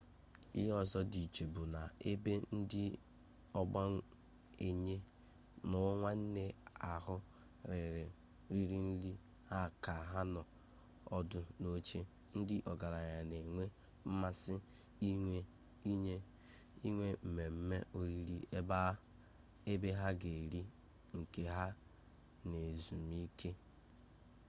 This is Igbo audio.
ihe ọzọ dị iche bụ na ebe ndị ogbenye na nwanyị ahụ riri nri ha ka ha nọ ọdụ n'oche ndị ọgaranya na-enwe mmasị inwe mmemme oriri ebe ha ga-eri nke ha n'ezumike